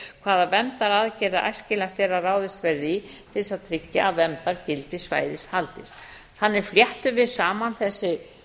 hvaða verndaraðgerðir æskilegt er að ráðist verði í til þess að tryggja að verndargildi svæðis haldist þannig fléttum við saman þessi